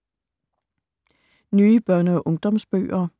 Nye børne- og ungdomsbøger